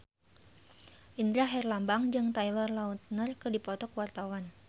Indra Herlambang jeung Taylor Lautner keur dipoto ku wartawan